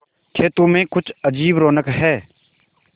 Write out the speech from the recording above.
खेतों में कुछ अजीब रौनक है